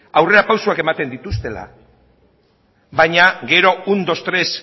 aurrera pausuak ematen dituztela baina gero un dos tres